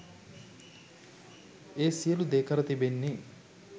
ඒ සියලු දේ කර තිබෙන්නේ්